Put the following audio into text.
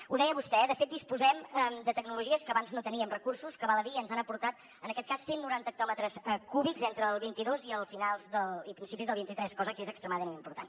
ho deia vostè eh de fet disposem de tecnologies per a les quals abans no teníem recursos que val a dir ho ens han aportat en aquest cas cent noranta hectòmetres cúbics entre el vint dos i principis del vint tres cosa que és extremadament important